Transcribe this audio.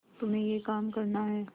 तुम्हें यह काम करना है